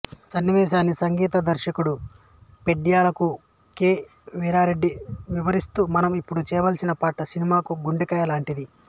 సన్నివేశాన్ని సంగీత దర్శకుడు పెండ్యాలకు కె వి రెడ్డి వివరిస్తూ మనం ఇప్పుడు చేయాల్సిన పాట సినిమాకు గుండెకాయ లాంటిది